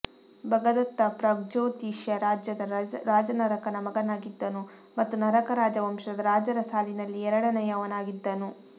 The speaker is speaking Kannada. ಭಗದತ್ತಪ್ರಾಗ್ಜ್ಯೋತಿಷ ರಾಜ್ಯದ ರಾಜ ನರಕನ ಮಗನಾಗಿದ್ದನು ಮತ್ತು ನರಕ ರಾಜವಂಶದ ರಾಜರ ಸಾಲಿನಲ್ಲಿ ಎರಡನೆಯವನಾಗಿದ್ದನು